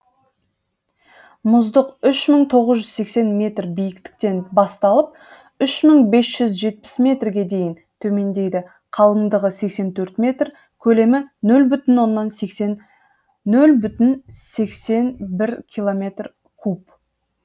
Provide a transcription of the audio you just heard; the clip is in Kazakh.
мұздық үш мың тоғыз жүз сексен метр биіктіктен басталып үш мың бес жүз жетпіс метрге дейін төмендейді қалыңдығы сексен төрт метр көлемі нөл бүтін сексен бір километр куб